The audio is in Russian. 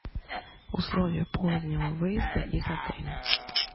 условия позднего выезда из отеля